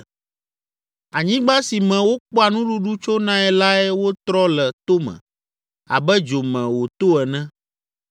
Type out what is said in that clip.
Anyigba si me wokpɔa nuɖuɖu tsonae lae wotrɔ le tome abe dzo me wòto ene.